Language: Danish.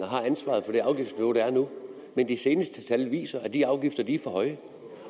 har ansvaret for det afgiftsniveau der er nu men de seneste tal viser at de afgifter er for høje